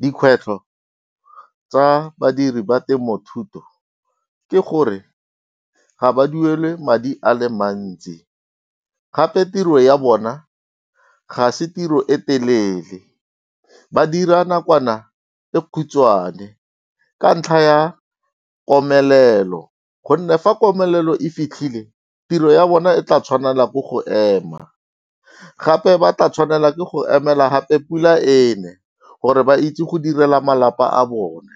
Dikgwetlho tsa badiri ba temothuo ke gore ga ba duelwe madi a le mantsi, gape tiro ya bona ga se tiro e telele. Ba dira nakwana e khutshwane ka ntlha ya komelelo, gonne fa komelelo e fitlhile tiro ya bona e tla tshwanela ke go ema. Gape ba tla tshwanela ke go emela gape pula ene, gore ba itse go direla malapa a bone.